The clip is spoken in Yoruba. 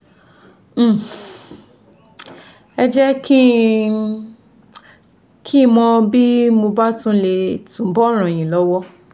um Ẹ jẹ́ kí n kí n mọ bí mo bá lè túbọ̀ ràn yín lọ́wọ́